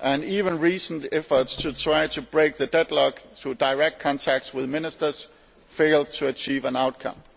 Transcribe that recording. but even recent efforts to try to break the deadlock through direct contacts with Ministers failed to achieve an outcome.